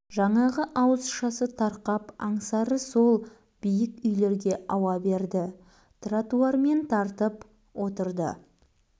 жаңағы ашуызасы тарқап аңсары сол биік үйлерге ауа берді тротуармен тартып отырды